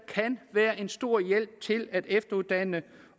kan være en stor hjælp til at efteruddanne